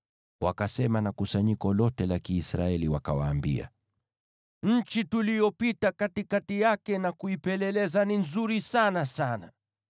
wakasema na kusanyiko lote la Kiisraeli, wakawaambia, “Nchi tuliyopita katikati yake na kuipeleleza ni nzuri sana sana.